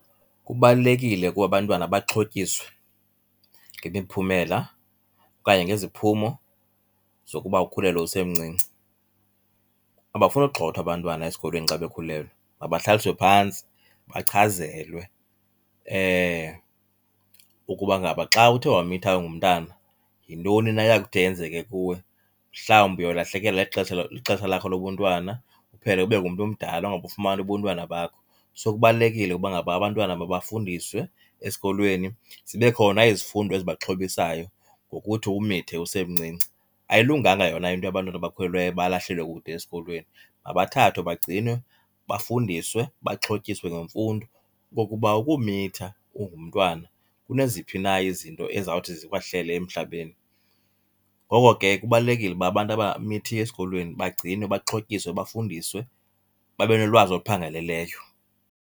Kubalulekile ukuba abantwana baxhotyiswe ngemiphumela okanye ngeziphumo zokuba ukhulelwe usemncinci. Abafuni ugxothwa abantwana esikolweni xa bekhulelwe, mabahlaliswe phantsi bachazelwe ukuba ngaba xa uthe wamitha ungumntana yintoni na eya kuthi yenzeke kuwe. Mhlawumbi uyolahlekelwa lixesha lakho lobuntwana, uphele ube ngumntu omdala ungabufumani ubuntwana bakho. So kubalulekile uba ngaba abantwana mabafundiswe esikolweni, zibe khona izifundo ezibaxhobisayo ngokuthi umithe usemncinci. Ayilunganga yona into yabantwana abakhulelweyo balahlelwe kude esikolweni. Mabathathwe bagcinwe, bafundiswe baxhotyiswe ngemfundo okokuba ukumitha ungumntwana kuneziphi na izinto ezawuthi zikwehlele emhlabeni. Ngoko ke kubalulekile uba abantu abamithiyo esikolweni bagcinwe, baxhotyiswe, bafundiswe babe nolwazi oluphangaleleyo.